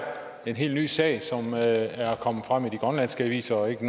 en helt ny sag som er er kommet frem i de grønlandske aviser og ikke